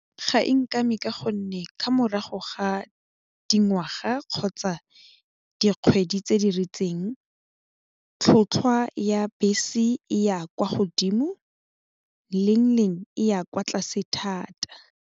Ga e nkame ka gonne ka morago ga dingwaga kgotsa dikgwedi tse di ritseng tlhotlhwa ya bese e ya kwa godimo leng leng e ya kwa tlase thata.